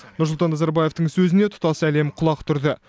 нұрсұлтан назарбаевтың сөзіне тұтас әлем құлақ түрді